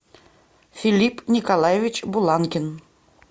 филипп николаевич буланкин